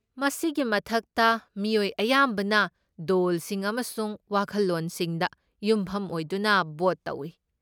ꯃꯁꯤꯒꯤ ꯃꯊꯛꯇ, ꯃꯤꯑꯣꯏ ꯑꯌꯥꯝꯕꯅ ꯗꯣꯜꯁꯤꯡ ꯑꯃꯁꯨꯡ ꯋꯥꯈꯜꯂꯣꯟꯁꯤꯡꯗ ꯌꯨꯝꯐꯝ ꯑꯣꯏꯗꯨꯅ ꯚꯣꯠ ꯇꯧꯏ꯫